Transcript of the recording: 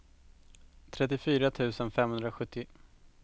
trettiofyra tusen femhundrasjuttio